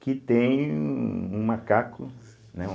Que tem um um macaco, né?